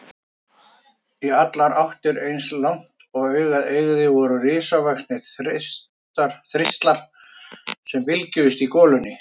Í allar áttir, eins langt og augað eygði, voru risavaxnir þistlar sem bylgjuðust í golunni.